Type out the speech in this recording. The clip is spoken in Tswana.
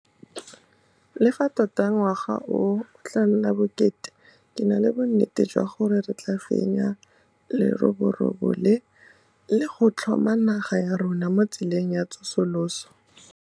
Le fa tota ngwaga o o tla nna bokete, ke na le bonnete jwa gore re tla fenya leroborobo le, le go tlhoma naga ya rona mo tseleng ya tsosoloso.